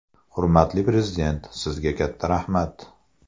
Hurmatli Prezident, sizga katta rahmat!